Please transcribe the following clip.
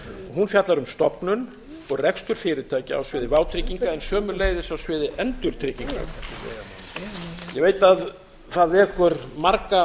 hún fjallar um um stofnun og rekstur fyrirtækja á sviði vátrygginga en sömuleiðis á sviði endurtrygginga ég veit að það vekur marga